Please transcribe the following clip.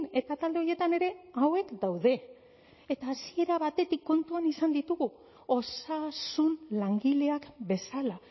eta talde horietan ere hauek daude eta hasiera batetik kontuan izan ditugu osasun langileak bezala